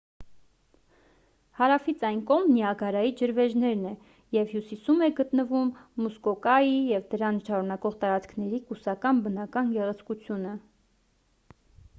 հարավից այն կողմ նիագարայի ջրվեժներն է և հյուսիսում է գտնվում մուսկոկայի և դրան շարունակող տարածքների կուսական բնական գեղեցկությունը